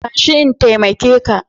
Tashi in taimake ka.